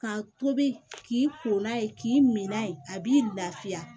Ka tobi k'i ko n'a ye k'i mina ye a b'i lafiya